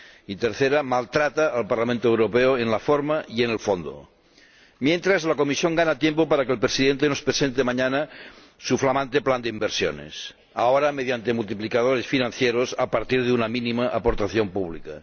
Y, tercera, maltrata al Parlamento Europeo en la forma y en el fondo. Mientras, la Comisión gana tiempo para que su Presidente nos presente mañana su flamante plan de inversiones, ahora mediante multiplicadores financieros a partir de una mínima aportación pública.